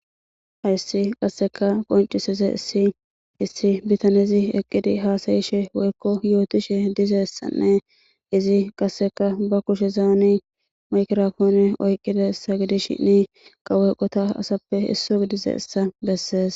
ayssi qasseka qoncisize issi issi bitanezi eqqidi haasayishe woykko yootishe dizessanne izi qasseka ba kushe zaani maykirafoone oyqqida ssa gidishinne kawoyqota asappe isso gidize essa bessees